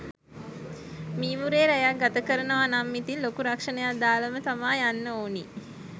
මීමුරේ රැයක් ගතකරනව නම් ඉතින් ලොකු රක්ෂනයක් දාලාම තමා යන්න ඕනි